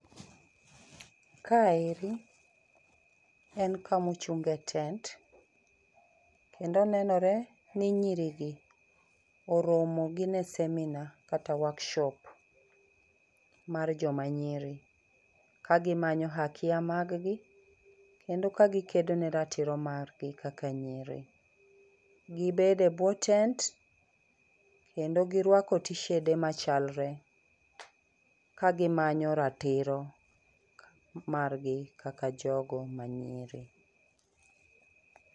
Ka eri en kama ochung' e tent kendo nenore ni nyiri gi oromo gin e seminar kata workshop mar joma nyiri, ka gimanyo haki a mag gi kendo ka gikedo ne ratiro mar gi kaka nyiri. Gibede buo tent kendo giwarko tisede machalre ka gimanyo ratiro mag gi kaka jogo manyiri